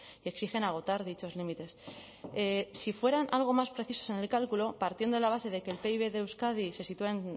y exigen agotar dichos límites si fueran algo más precisos en el cálculo partiendo de la base de que el pib de euskadi se sitúa en